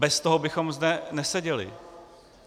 Bez toho bychom zde neseděli.